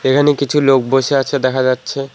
এখানে কিছু লোক বসে আছে দেখা যাচ্ছে।